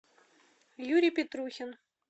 юрий петрухин